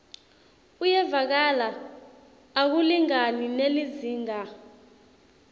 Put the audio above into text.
uyevakala akulingani nelizingaa